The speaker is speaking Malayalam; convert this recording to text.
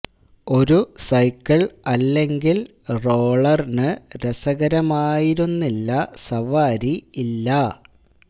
ഒരു സൈക്കിൾ അല്ലെങ്കിൽ റോളർ ന് രസകരമായിരുന്നില്ല സവാരി ഇല്ല